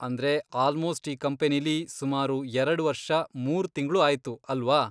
ಅಂದ್ರೆ ಆಲ್ಮೋಸ್ಟ್ ಈ ಕಂಪನಿಲಿ ಸುಮಾರು ಎರಡ್ ವರ್ಷ, ಮೂರ್ ತಿಂಗ್ಳು ಆಯ್ತು ಅಲ್ವಾ?